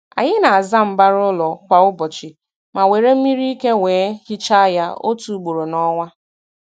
Anyị na-aza mbara ụlọ kwa ụbọchị, ma were mmiri ike wee hichaa ya otu ugboro n'ọnwa.